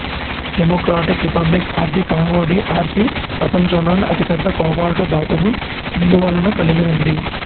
democratic Republic of the Congo D R C ప్రపంచంలోనే అతిపెద్ద cobalt ధాతువు నిలువలను కలిగి ఉంది